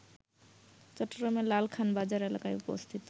চট্টগ্রামের লালখান বাজার এলাকায় অবস্থিত